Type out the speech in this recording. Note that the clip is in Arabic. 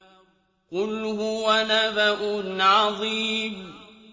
قُلْ هُوَ نَبَأٌ عَظِيمٌ